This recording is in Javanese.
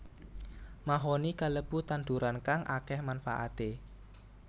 Mahoni kalebu tanduran kang akéh manfaaté